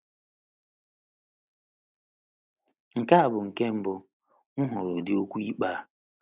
“ Nke a bụ nke mbụ m hụrụ ụdị okwu ikpe a. ”